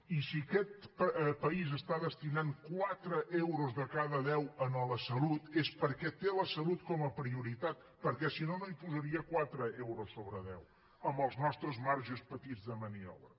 i si aquest país està destinant quatre euros de cada deu a la salut és perquè té la salut com a prioritat perquè si no no hi posaria quatre euros sobre deu amb els nostres marges petits de maniobra